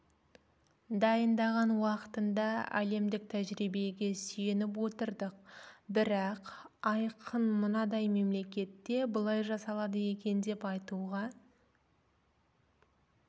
дайындаған уақытында әлемдік тәжірибегеде сүйеніп отырдық бірақ айқын мынадай мемлекетте былай жасалады екен деп айтуға